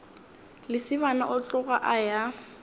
lesibana a tloga a ya